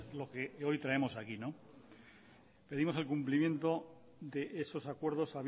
lo que hoy traemos aquí pedimos el cumplimiento de esos acuerdos